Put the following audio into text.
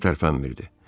Xəstə tərpənmirdi.